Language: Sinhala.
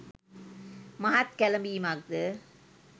මහත් කැළඹීමක්ද